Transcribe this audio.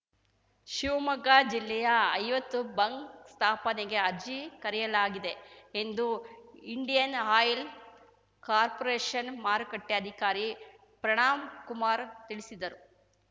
ಶಿವಮೊಗ್ಗ ಜಿಲ್ಲೆಯ ಐವತ್ತು ಬಂಕ್‌ ಸ್ಥಾಪನೆಗೆ ಅರ್ಜಿ ಕರೆಯಲಾಗಿದೆ ಎಂದು ಇಂಡಿಯನ್‌ ಆಯಿಲ್‌ ಕಾರ್ಪೋರೇಷನ್‌ ಮಾರುಕಟ್ಟೆಅಧಿಕಾರಿ ಪ್ರಣಾಂಕುಮಾರ್‌ ತಿಳಿಸಿದರು